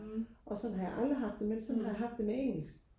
og sådan har jeg aldrig haft det men sådan har jeg haft det med engelsk